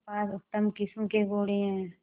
मेरे पास उत्तम किस्म के घोड़े हैं